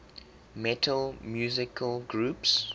metal musical groups